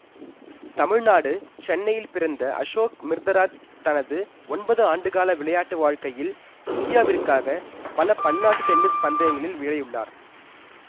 தமிழ்நாடு சென்னையில் பிறந்த அசோக் அமிர்தராஜ் தனது ஒன்பது ஆண்டுகால விளையாட்டு வாழ்க்கையில் இந்தியாவிற்காக பல பன்னாட்டு டென்னிஸ் பந்தயங்களில் விளையுள்ளார்